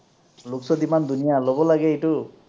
looks ত ইমান ধুনীয়া, ল’ব লাগে এইটো।